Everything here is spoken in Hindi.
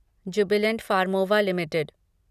Jubilant Pharmova limited